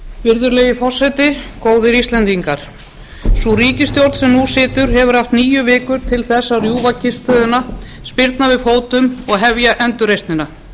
virðulegi forseti góðir íslendingar sú ríkisstjórn sem nú situr hefur haft níu vikur til að rjúfa kyrrstöðuna spyrna við fótum og hefja endurreisnina